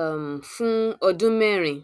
um fún ọdún mẹrin